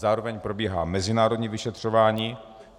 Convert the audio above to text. Zároveň probíhá mezinárodní vyšetřování.